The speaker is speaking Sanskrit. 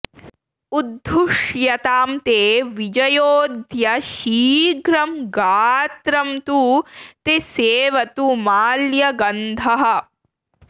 उद्धुष्यतां ते विजयोऽद्य शीघ्रं गात्रं तु ते सेवतु माल्यगन्धः